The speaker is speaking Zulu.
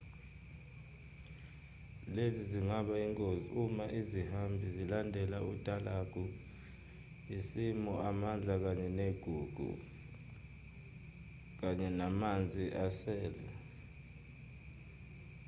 lezi zingaba ingozi uma isihambi silandela utalagu simosha amandla ayigugu kanye namanzi asele